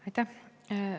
Aitäh!